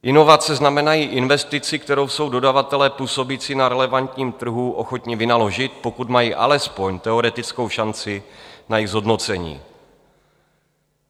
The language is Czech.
Inovace znamenají investici, kterou jsou dodavatelé působící na relevantním trhu ochotni vynaložit, pokud mají alespoň teoretickou šanci na její zhodnocení.